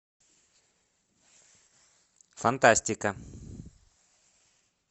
фантастика